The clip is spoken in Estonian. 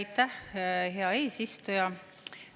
Aitäh, hea eesistuja!